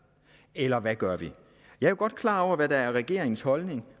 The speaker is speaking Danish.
eller hvad gør vi jeg er godt klar over hvad der er regeringens holdning